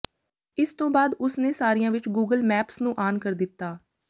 ਇਸ ਤੋਂ ਬਾਅਦ ਉਸ ਨੇ ਸਾਰਿਆਂ ਵਿਚ ਗੂਗਲ ਮੈਪਸ ਨੂੰ ਆਨ ਕਰ ਦਿੱਤਾ